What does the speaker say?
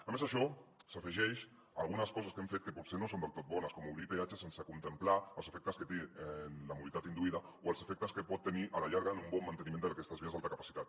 a més això s’afegeix a algunes coses que hem fet que potser no són del tot bones com obrir peatges sense contemplar els efectes que té en la mobilitat induïda o els efectes que pot tenir a la llarga en un bon manteniment d’aquestes vies d’alta capacitat